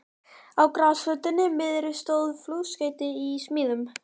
Á grasflötinni miðri stóð flugskeyti í smíðum.